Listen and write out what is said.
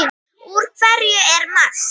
Úr hverju er Mars?